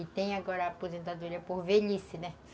E tem agora aposentadoria por velhice, né?